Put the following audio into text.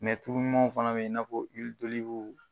tulumanw fɛnɛ be yen nɔn i n'a fɔ